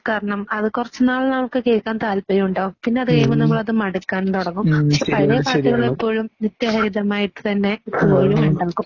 കാരണം അത് കുറച്ചുനാള് നമുക്ക് കേൾക്കാൻ താല്പര്യമുണ്ടാകും. പിന്നെ അതുകഴിയുമ്പോൾ നമ്മൾ അത് മടുക്കാൻ തുടങ്ങും, പക്ഷെ പഴയ പാട്ടുകൾ ഇപ്പോഴും നിത്യഹരിതമായിട്ടു തന്നെ എപ്പോഴുമുണ്ടാകും.